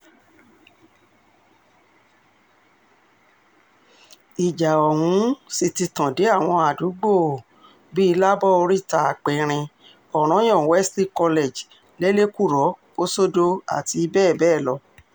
ìjà ọ̀hún um sì ti tàn dé àwọn àdúgbò um bíi lábọ̀ oríta-aperín ọ̀ranyàn wesley college lẹ́lẹ̀kúrò kòsódò àti bẹ́ẹ̀ bẹ́ẹ̀ lọ